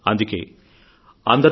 అందుకే అందరూ